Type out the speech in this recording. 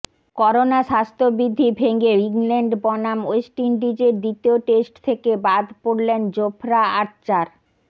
corona স্বাস্থ্যবিধি ভেঙে England বনাম ওয়েস্ট ইন্ডিজের দ্বিতীয় টেস্ট থেকে বাদ পড়লেন জোফরা আর্চার